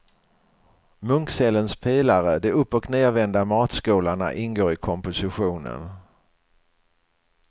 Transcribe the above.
Munkcellens pelare, de uppochnedvända matskålarna ingår i kompositionen.